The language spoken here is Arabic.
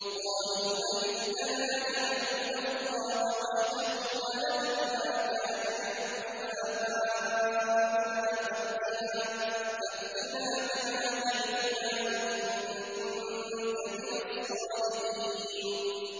قَالُوا أَجِئْتَنَا لِنَعْبُدَ اللَّهَ وَحْدَهُ وَنَذَرَ مَا كَانَ يَعْبُدُ آبَاؤُنَا ۖ فَأْتِنَا بِمَا تَعِدُنَا إِن كُنتَ مِنَ الصَّادِقِينَ